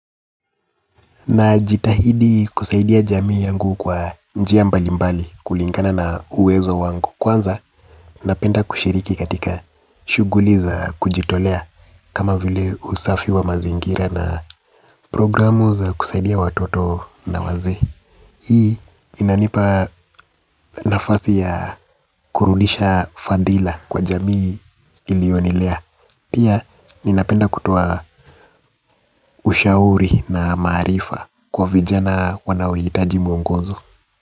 Najitahidi kusaidia jamii yangu kwa njia mbalimbali kulingana na uwezo wangu. Kwanza napenda kushiriki katika shughuli za kujitolea. Kama vile usafi wa mazingira na programu za kusaidia watoto na wazee. Hii inanipa nafasi ya kurudisha fadhila kwa jamii iliyonilea pia, ninapenda kutoa ushauri na maarifa kwa vijana wanaohitaji mwongozo.